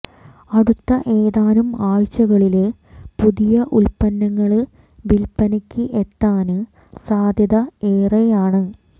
അടുത്ത ഏതാനും ആഴ്ചകളില് പുതിയ ഉല്പ്പന്നങ്ങള് വില്പ്പനയ്ക്ക് എത്താന് സാദ്യത ഏറെയാണ്